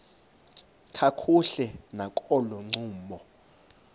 kakuhle nakolo ncumo